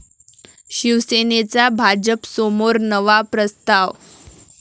शिवसेनेचा भाजपसमोर नवा प्रस्ताव